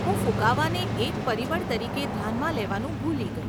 હું ફુગાવાને એક પરિબળ તરીકે ધ્યાનમાં લેવાનું ભૂલી ગઇ.